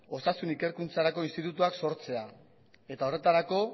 osasun ikerkuntzarako institutuak sortzea eta horretarako